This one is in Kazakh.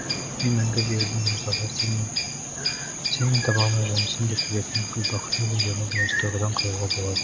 мен мәңгі берілдім музаға сен мен таба алмай жүрмісің деп келетін гүлбақыттың өлеңдеріне де осы тұрғыдан қарауға болады